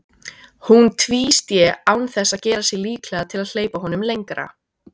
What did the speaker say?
Hún tvísté án þess að gera sig líklega til að hleypa honum lengra.